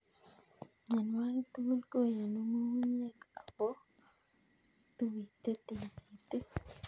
Mionwokik tugul koyonu ng'ung'unyek ako ituite tikitik.